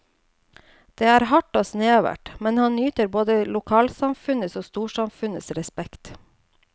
Det er hardt og snevert, men han nyter både lokalsamfunnets og storsamfunnets respekt.